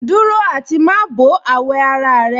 Dúró àti má bọ̀ àwọ̀ ara rẹ̀